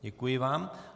Děkuji vám.